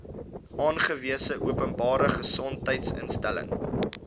aangewese openbare gesondheidsinstelling